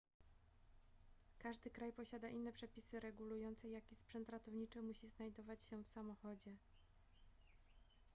każdy kraj posiada inne przepisy regulujące jaki sprzęt ratowniczy musi znajdować się w samochodzie